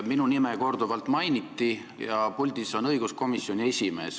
Minu nime korduvalt mainiti ja puldis on õiguskomisjoni esimees.